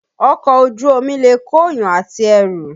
Ọkọ̀ Ojú omi lè kóyàn àti ẹrù